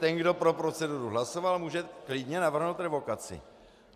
Ten, kdo pro proceduru hlasoval, může klidně navrhnout revokaci.